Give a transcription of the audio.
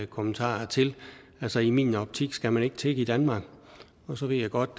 kommentarer til altså i min optik skal man ikke tigge i danmark og så ved jeg godt